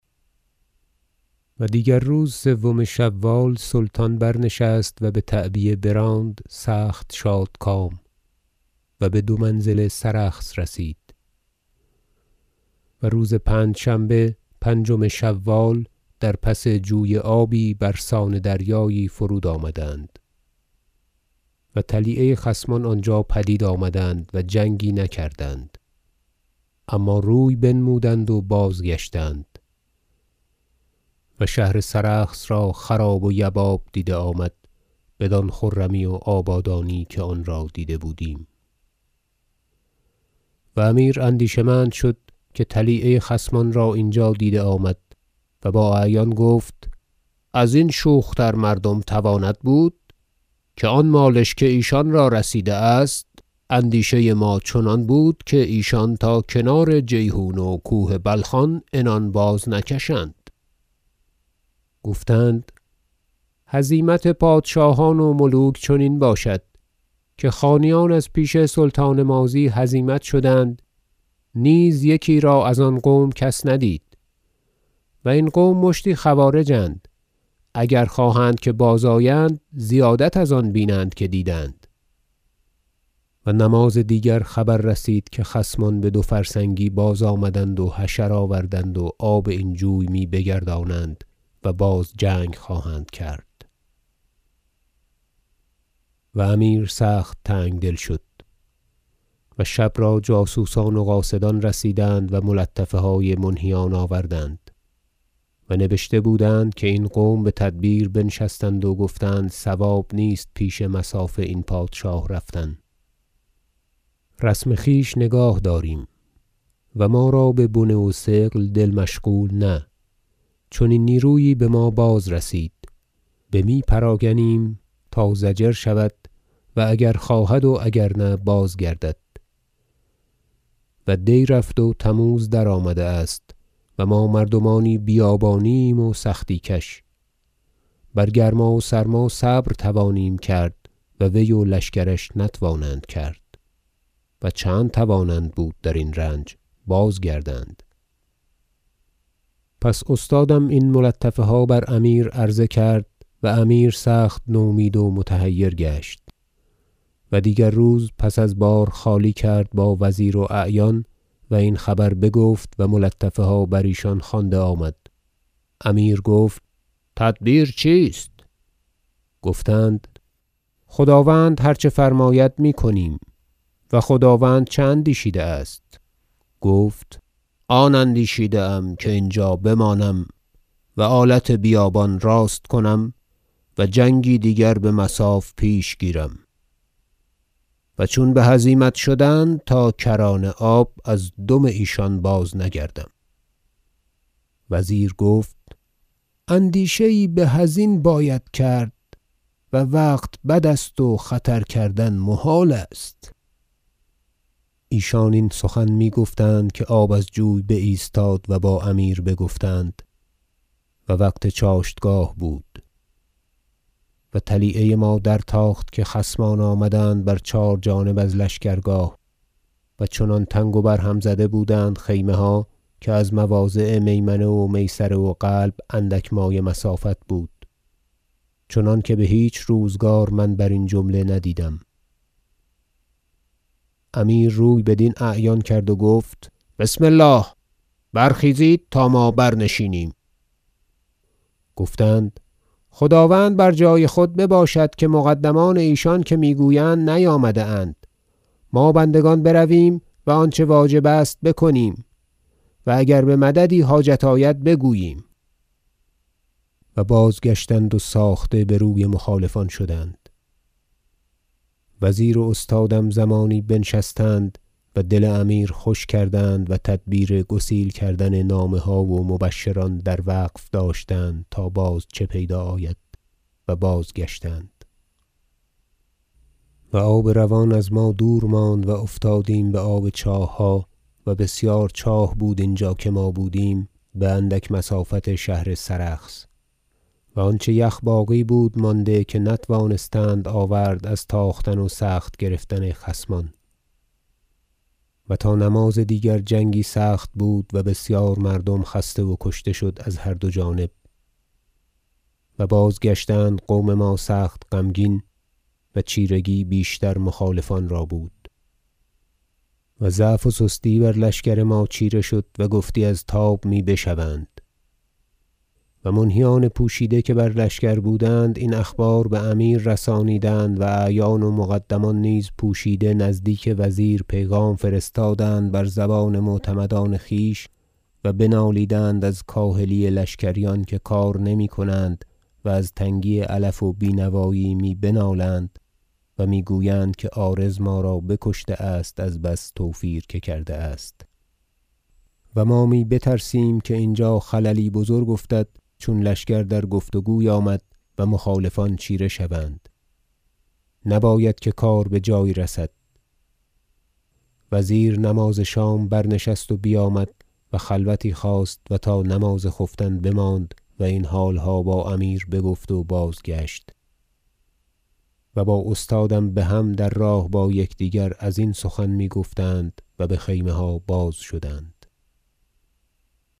و دیگر روز سوم شوال سلطان برنشست و بتعبیه براند سخت شادکام و بدو منزل سرخس رسید و روز پنجشنبه پنجم شوال در پس جوی آبی برسان دریایی فرود آمدند و طلیعه خصمان آنجا پدید آمدند و جنگی نکردند اما روی بنمودند و بازگشتند و شهر سرخس را خراب و یباب دیده آمد بدان خرمی و آبادانی که آن را دیده بودیم و امیر اندیشه مند شد که طلیعه خصمان را اینجا دیده آمد و با اعیان گفت ازین شوختر مردم تواند بود که از آن مالش که ایشان را رسیده است اندیشه ما چنان بود که ایشان تا کنار جیحون و کوه بلخان عنان بازنکشند گفتند هزیمت پادشاهان و ملوک چنین باشد که خانیان از پیش سلطان ماضی هزیمت شدند نیز یکی را از آن قوم کس ندید و این قوم مشتی خوارج اند اگر خواهند که بازآیند زیادت از آن بینند که دیدند و نماز دیگر خبر رسید که خصمان بدو فرسنگی بازآمدند و حشر آوردند و آب این جوی می بگردانند و باز جنگ خواهند کرد و امیر سخت تنگدل شد و شب را جاسوسان و قاصدان رسیدند و ملطفه های منهیان آوردند و نبشته بودند که این قوم بتدبیر بنشستند و گفتند صواب نیست پیش مصاف این پادشاه رفتن رسم خویش نگاه داریم و ما را به بنه و ثقل دل مشغول نه چنین نیرویی بما باز رسید بمی پراگنیم تا ضجر شود و اگر خواهد و اگر نه بازگردد و دی رفت و تموز درآمده است و ما مردمانی بیابانی ایم و سختی کش بر گرما و سرما صبر توانیم کرد و وی و لشکرش نتوانند کرد و چند توانند بود درین رنج بازگردند پس استادم این ملطفه ها بر امیر عرض کرد و امیر سخت نومید و متحیر گشت و دیگر روز پس از بار خالی کرد با وزیر و اعیان و این خبر بگفت و ملطفه ها بر ایشان خوانده آمد امیر گفت تدبیر چیست گفتند هر چه خداوند فرماید میکنیم و خداوند چه اندیشیده است گفت آن اندیشیده ام که اینجا بمانم و آلت بیابان راست کنم و جنگی دیگر بمصاف پیش گیرم و چون بهزیمت شدند تا کران آب از دم ایشان باز نگردم وزیر گفت اندیشه یی به ازین باید کرد وقت بد است و خطر کردن محال است ایشان این سخن میگفتند که آب از جوی باز ایستاد و با امیر بگفتند و وقت چاشتگاه بود و طلیعه ما در تاخت که خصمان آمدند بر چهار جانب از لشکرگاه- و چنان تنگ و بر هم زده بودند خیمه ها که از مواضع میمنه و میسره و قلب اندک مایه مسافت بود چنانکه بهیچ روزگار من برین جمله ندیدم- امیر روی بدین اعیان کرد و گفت بسم الله برخیزید تا ما بر نشینیم گفتند خداوند بر جای خود بباشد که مقدمان ایشان که میگویند نیامده اند ما بندگان برویم و آنچه واجب است بکنیم و اگر بمددی حاجت آید بگوییم و بازگشتند و ساخته بر وی مخالفان شدند و وزیر و استادم زمانی بنشستند و دل امیر خوش کردند و تدبیر گسیل کردن نامه ها و مبشران در وقف داشتند تا باز چه پیدا آید و بازگشتند و آب روان از ما دور ماند و افتادیم بآب چاهها- و بسیار چاه بود اینجا که ما بودیم باندک مسافت شهر سرخس- و آنچه یخ باقی بود مانده که نتوانستند آورد از تاختن و سخت گرفتن خصمان و تا نماز دیگر جنگی سخت بود و بسیار مردم خسته و کشته شد از هر دو جانب و بازگشتند قوم ما سخت غمگین و چیرگی بیشتر مخالفان را بود و ضعف و سستی بر لشکر ما چیره شد و گفتی از تاب می بشوند و منهیان پوشیده که بر لشکر بودند این اخبار بامیر رسانیدند و اعیان و مقدمان نیز پوشیده نزدیک وزیر پیغام فرستادند بر زبان معتمدان خویش و بنالیدند از کاهلی لشکریان که کار نمیکنند و از تنگی علف و بینوایی می بنالند و میگویند که عارض ما را بکشته است از بس توفیر که کرده است و ما می بترسیم که اینجا خللی بزرگ افتد چون لشکر در گفت و گوی آمد و مخالفان چیره شوند نباید که کار بجایی رسد وزیر نماز شام برنشست و بیامد و خلوتی خواست و تا نماز خفتن بماند و این حالها با امیر بگفت و بازگشت و با استادم بهم در راه با یکدیگر ازین سخن میگفتند و بخیمه ها بازشدند